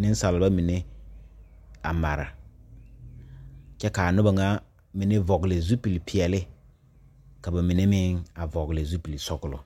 nensalba mine a mare kyɛ k,a noba ŋa mine vɔgle zupilipeɛle ka ba mine meŋ a vɔgle zupilisɔglɔ.